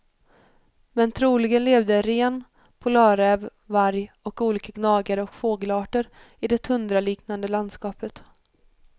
Men troligen levde ren, polarräv, varg och olika gnagare och fågelarter i det tundraliknande landskapet.